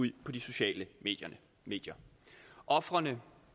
ud på de sociale medier ofrene